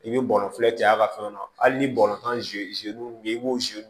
I bɛ bɔnɔnfilɛ cɛ a ka fɛn na hali ni tan min i b'o